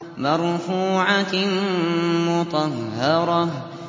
مَّرْفُوعَةٍ مُّطَهَّرَةٍ